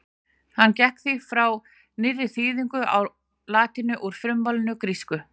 Hann gekk því frá nýrri þýðingu á latínu úr frummálinu grísku.